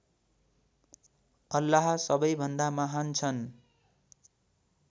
अल्लाह सबैभन्दा महान् छन्